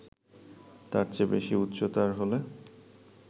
তার চেয়ে বেশি উচ্চতার হলে